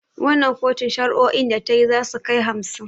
Wannan kotun shari'o'in da tayi zasu kai hamsin